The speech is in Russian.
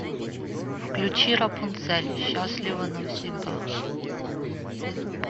включи рапунцель счастлива навсегда